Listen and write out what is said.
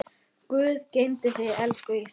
Guð geymi þig, elsku Ísak.